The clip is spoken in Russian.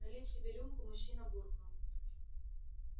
налив себе рюмку мужчина буркнул